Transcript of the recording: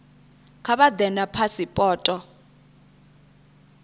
kha vha ḓe na phasipoto